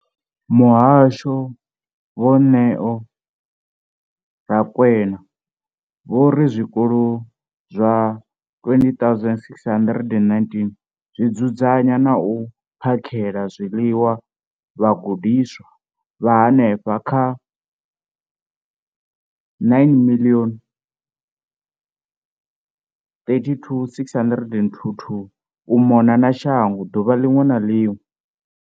Muhasho, Vho Neo Rakwena, vho ri zwikolo zwa 20 619 zwi dzudzanya na u phakhela zwiḽiwa vhagudiswa vha henefha kha 9 032 622 u mona na shango ḓuvha ḽiṅwe na ḽiṅwe.